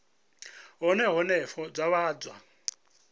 hune henefho zwa vha zwa